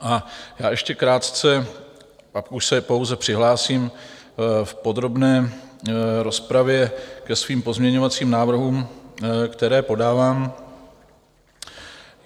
A já ještě krátce - pak už se pouze přihlásím v podrobné rozpravě ke svým pozměňovacím návrhům, které podávám.